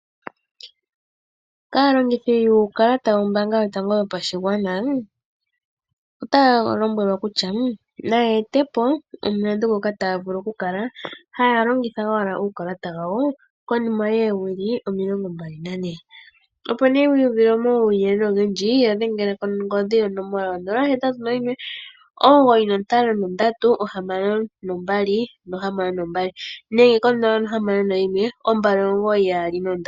Aalongithi yuukalata wombaanga yotango yopashigwana, ota ya lombwelwa kutya na ya ete po omulandu ngoka taa vulu okukala ha ya longitha owala uukalata wawo konima yoowili 24. Opo nee wii uvile omawuyelele ogendji yadhengela kongodhi yonomola 0819536262 nenge 0612992222.